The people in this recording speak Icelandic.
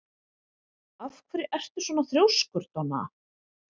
Af hverju ertu svona þrjóskur, Donna?